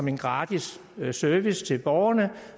en gratis service til borgerne